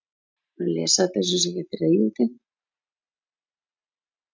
Landsbankinn og Fjarðabyggð gerðu í dag styrktarsamning.